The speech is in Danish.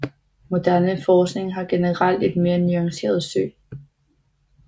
Moderne forskning har generelt et mere nuanceret syn